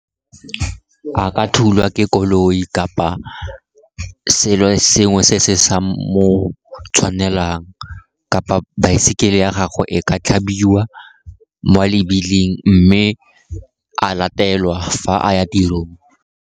A ka thulwa ke koloi kapa selo sengwe se se sa mo tshwanelang, kapa baesekele ya gago e ka tlhabiwa mo a lebiling mme a latelwa fa a ya tirong.